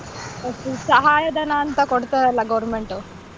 Okay ಸಹಾಯಧನ ಅಂತ ಕೊಡತರಲ್ಲ government ಉ.